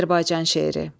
Azərbaycan şeiri.